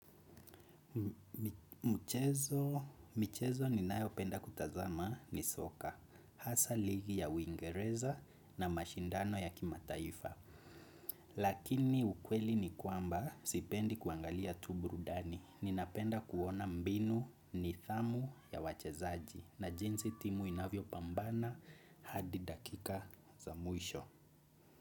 Mchezo ninayo penda kutazama ni soka. Hasa ligi ya uingereza na mashindano ya kimataifa. Lakini ukweli ni kwamba sipendi kuangalia tu burudani. Ninapenda kuona mbinu nidhamu ya wachezaji. Na jinsi timu inavyopambana hadi dakika za mwisho.